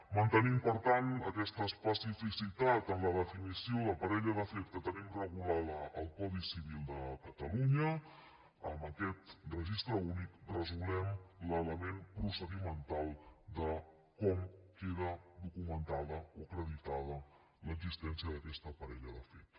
mantenim per tant aquesta especificitat en la definició de parella de fet que tenim regulada al codi civil de catalunya amb aquest registre únic resolem l’element procedimental de com queda documentada o acreditada l’existència d’aquesta parella de fet